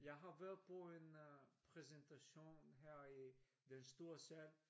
Jeg har været på en præsentation her i den store sal